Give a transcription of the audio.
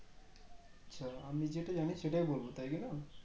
আচ্ছা আমি যেটা জানি সেটাই বলবো তাই কি না